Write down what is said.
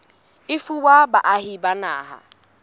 e fuwa baahi ba naha